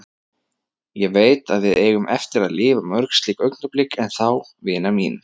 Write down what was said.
Ég veit, að við eigum eftir að lifa mörg slík augnablik enn þá, vina mín.